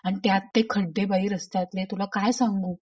आणि त्यात ते खड्डे बाई रस्त्यातले तुला काय सांगू!